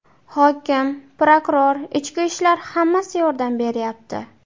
Hokim, prokuror, ichki ishlar, hammasi yordam beryapti.